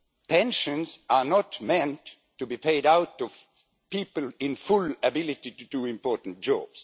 Pensions are not meant to be paid out to people with the full ability to do an important job.